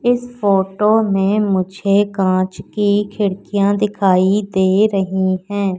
इस फोटो में मुझे कांच की खिड़कियां दिखाई दे रही हैं।